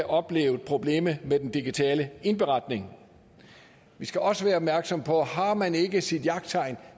oplevet problemet med den digitale indberetning vi skal også være opmærksom på at har man ikke sit jagttegn